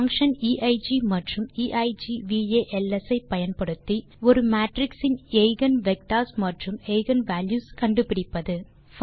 functions eig மற்றும் eigvals ஐ பயன்படுத்தி ஒரு மேட்ரிக்ஸ் இன் எய்கென் வெக்டர்ஸ் மற்றும் எய்கென் வால்யூஸ் ஆகியவற்றை கண்டுபிடிப்பது